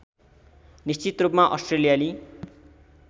निश्चित रूपमा अस्ट्रेलियाली